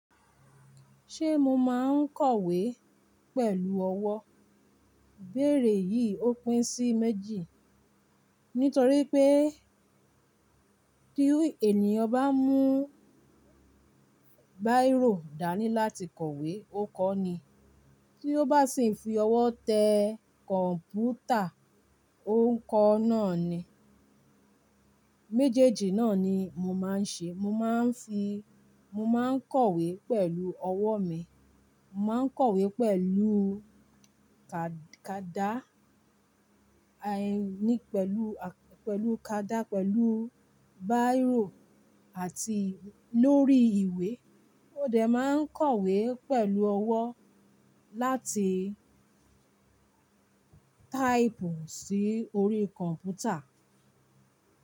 Ṣé mo máa ń kọ̀wé pẹ̀lú ọwọ́? Bẹ́rẹ̀ yìí ó pín sí méjì. Nítorí pé tí ènìyàn bá ń mú báírò dání láti kọ̀wé ó kọ ni, tí ó bá sì ń fi ọwọ́ tẹ kọ̀ǹpútà ó ń kọ náà ni. Méjèèjì náà ni mo máa ń ṣe. Mo máa ń fi, mo máa ń kọ̀wé pẹ̀lú ọwọ́ mi, mo máa ń kọ̀wé pẹ̀lú ka-kada, ẹ ni pẹ̀lú, pẹ̀lú kada, pẹ̀lú báírò àti lórí ìwé. Ó dẹ̀ máa ń kọ̀wé pẹ̀lú ọwọ́ láti táìpù sí orí kọ̀ǹpútà.